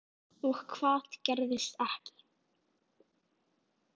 Og hvað gerðist ekki.